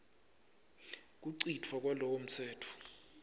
kucitfwa kwalowo mtsetfo